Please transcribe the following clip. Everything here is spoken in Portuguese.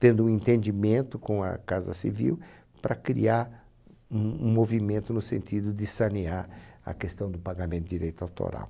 tendo um entendimento com a Casa Civil para criar um um movimento no sentido de sanear a questão do pagamento de direito autoral.